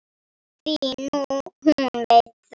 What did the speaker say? Því hún veit það.